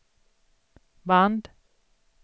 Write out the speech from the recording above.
band